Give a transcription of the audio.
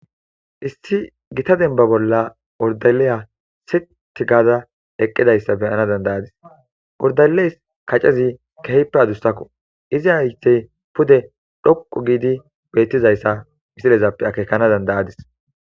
issi gita denba bolla ordalliya sitti gaada eqqidayssa be7ana dandayadis ordaleys kacezi kehippe adussakko izi haytey pude dhoqu giidi bettizayssa misilezappe akeekana dandayadis.